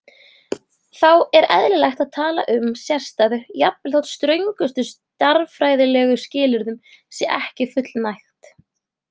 Þá er eðlilegt að tala um sérstæðu jafnvel þótt ströngustu stærðfræðilegu skilyrðum sé ekki fullnægt.